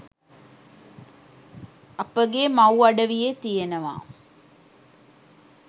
අපගේ මව් අඩවියේ තියනවා